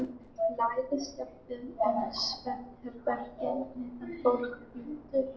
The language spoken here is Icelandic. Læðist jafnvel um svefnherbergin meðan fólk hrýtur.